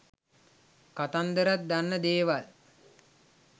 කතන්දරත් දන්න දේවල්